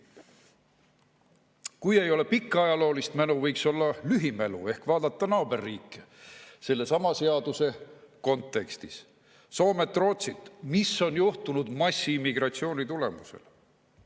Kui ei ole pikka ajaloolist mälu, võiks olla lühimälu ehk vaadata naaberriike sellesama seaduse kontekstis – Soomet, Rootsit –, mis on juhtunud massiimmigratsiooni tulemusel.